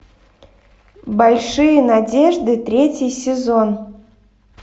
большие надежды третий сезон